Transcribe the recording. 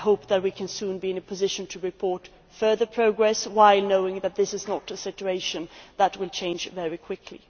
So I hope that we can soon be in a position to report further progress while knowing that this is not a situation that will change very quickly.